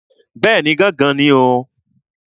Bẹ́ẹ̀ni, gángan ni o.